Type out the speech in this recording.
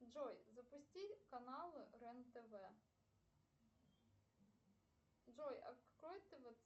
джой запусти канал рен тв джой открой тв